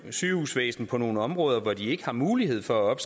sygehusvæsen på nogle områder hvor de ikke har mulighed for at